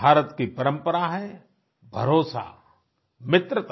भारत की परंपरा है भरोसा मित्रता